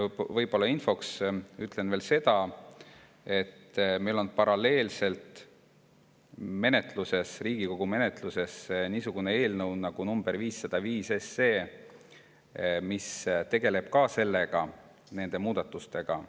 Ja infoks ütlen veel seda, et meil on paralleelselt Riigikogu menetluses eelnõu 505, mis tegeleb ka nende muudatustega.